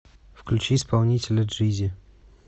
включи исполнителя джизи